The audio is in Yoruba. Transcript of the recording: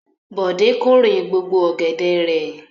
Bọ̀dé kórè gbogbo ọ̀gẹ̀dẹ̀ rẹ̀?